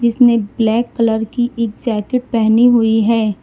उसने black colour की एक जैकेट पहनी हुई है।